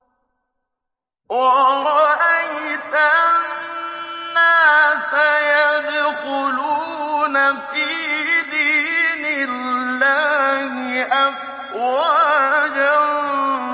وَرَأَيْتَ النَّاسَ يَدْخُلُونَ فِي دِينِ اللَّهِ أَفْوَاجًا